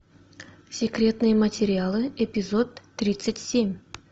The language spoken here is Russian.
секретные материалы эпизод тридцать семь